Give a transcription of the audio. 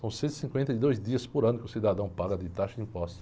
São cento e cinquenta e dois dias por ano que o cidadão paga de taxa de impostos.